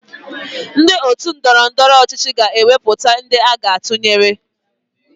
Ndị otu ndọrọndọrọ ọchịchị na-ewepụta ndị aga atụnyere